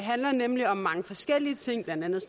handler nemlig om mange forskellige ting blandt andet